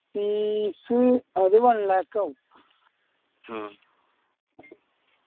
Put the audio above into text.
fees അത് one lakh ആവും